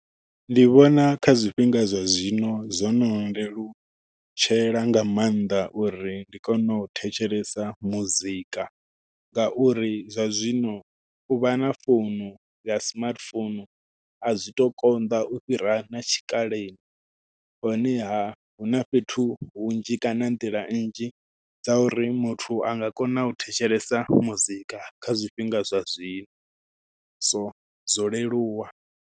Ndi vhona kha zwifhinga zwa zwino zwo no lelutshela nga maanḓa uri ndi kone u thetshelesa muzika ngauri zwa zwino u vha na founu ya smartphone a zwi tu konḓa u fhira na tshikaleni honeha huna fhethu hunzhi kana nḓila nnzhi dza uri muthu anga kona u thetshelesa muzika kha zwifhinga zwa zwino so zwo leluwa.